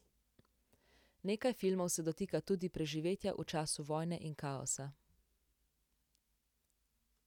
Nekaj filmov se dotika tudi preživetja v času vojne in kaosa.